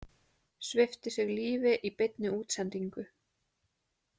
Svipti sig lífi í beinni útsendingu